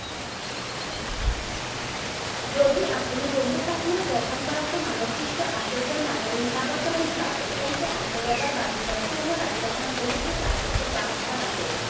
যদি আপুনি জম্মু কাশ্মীৰৰ দৰ্শন কৰাটো মানৱসৃষ্ট আশ্বৰ্য্যৰ মাজতে সীমাবদ্ধ বুলি ভাবে, তেন্তে আকৌ এবাৰ ভাবি চাওক। কিয়নো ৰাজ্য বহুতো প্ৰাকৃতিক বাসস্থান আছে।